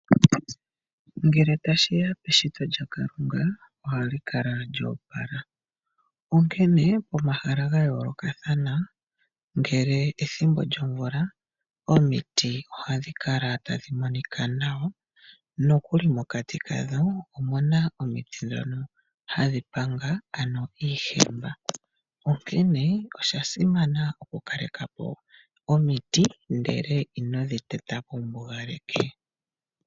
Ngele tashiya peshito lya kalunga ohali kala lyoopala onkene omahala ga yoolokathana ngashi pethimbo lyo mvula omiti ohadhi kala tadhi monika nawa nokuli mokati kadho omuna omiti dhoka hadhi panga ano iihemba onkee osha simana oku kalekapo omiti, ndele inodhi tetapo wu mbugaleke.